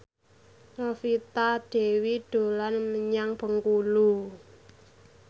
Novita Dewi dolan menyang Bengkulu